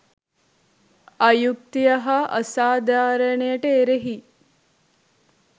අයුක්තිය හා අසාධාරණයට එරෙහි